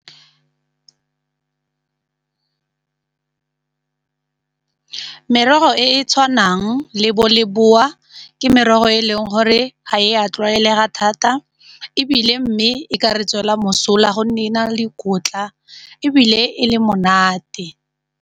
Merogo e e tshwanang le bo leboa ke merogo e leng gore ga e a tlwaelega thata ebile mme e ka re tswela mosola gonne e na le dikotla ebile e le monate.